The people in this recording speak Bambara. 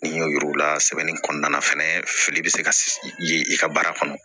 N y'o yir'u la sɛbɛnni kɔnɔna na fɛnɛ fili bɛ se ka ye i ka baara kɔnɔ